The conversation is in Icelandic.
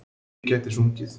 Ég gæti sungið.